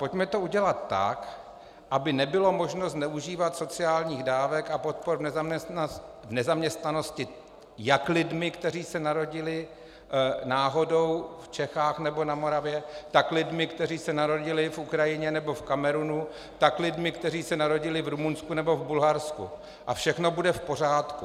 Pojďme to udělat tak, aby nebylo možno zneužívat sociálních dávek a podpor v nezaměstnanosti jak lidmi, kteří se narodili náhodou v Čechách nebo na Moravě, tak lidmi, kteří se narodili na Ukrajině nebo v Kamerunu, tak lidmi, kteří se narodili v Rumunsku nebo v Bulharsku, a všechno bude v pořádku.